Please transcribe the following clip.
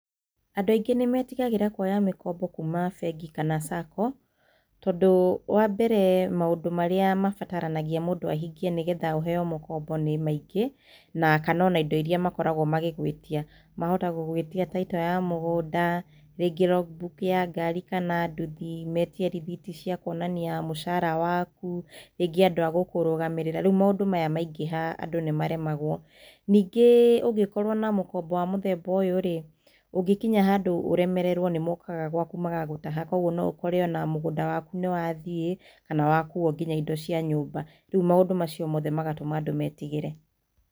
Andũ aingĩ nĩmetigagĩra kuoya mĩkombo kuma bengi kana cako tondũ wa mbere maũndũ marĩa mabataranagia mũndũ ahingie nĩ getha aheo mũkombo nĩ maingĩ, ona kana indo iria makoragwo magĩgwĩtia: Titũ ya mũgũnda, rĩngĩ rogu mbuku ya ngari kana nduthi, metie rĩthiti cia kuonania mũcara waku, rĩngĩ andũ agũkũrũgamĩrĩra, rĩu maũndũ maya maingĩha andũ nĩmaremagwo. Ningĩ ũngĩkorwo na mũkombo wa mũthemba ũyũ-rĩ, ũngĩkinya handũ ũremererwo nĩ mokaga gwaku magagũtaha, kũoguo no ĩkore ona mũgũnda waku nĩ wathiĩ kana wakuo nginya indo cia nyũmba. Rĩu maũndũ macio mothe magatũma andũ metigĩre.